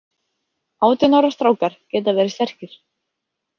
Átján ára strákar geta verið sterkir.